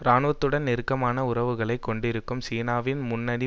இராணுவத்துடன் நெருக்கமான உறவுகளை கொண்டிருக்கும் சீனாவின் முன்னணி